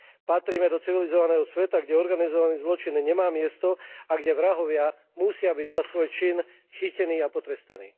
Patríme do civilizovaného sveta, kde organizovaný zločin nemá miesto a kde vrahovia musia byť za svoj čin chytení a potrestaní.